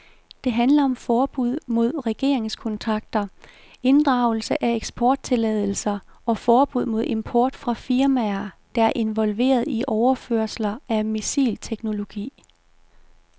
Det handler om forbud mod regeringskontakter, inddragelse af eksporttilladelser og forbud mod import fra firmaer, der er involveret i overførelser af missilteknologi.